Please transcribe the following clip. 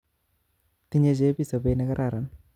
Tinye chebii sobet nekararan